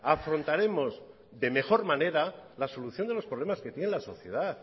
afrontaremos de mejor manera la solución de los problemas que tiene la sociedad